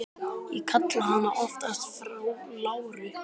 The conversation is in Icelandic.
Ég kalla hana oftast frú Láru.